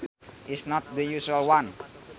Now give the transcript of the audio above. is not the usual one